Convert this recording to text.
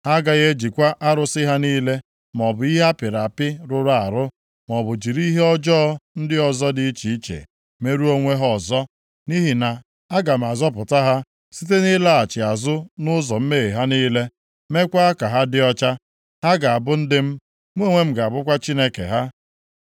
Ha agaghị ejikwa arụsị ha niile, maọbụ ihe a pịrị apị rụrụ arụ, maọbụ jiri ihe ọjọọ ndị ọzọ dị iche iche merụọ onwe ha ọzọ. Nʼihi na aga m azọpụta ha site na ịlaghachi azụ nʼụzọ mmehie ha niile, meekwa ka ha dị ọcha. Ha ga-abụ ndị m, mụ onwe m ga-abụkwa Chineke ha.